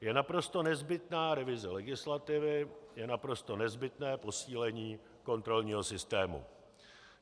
Je naprosto nezbytná revize legislativy, je naprosto nezbytné posílení kontrolního systému.